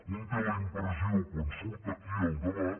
un té la impressió quan surt aquí al debat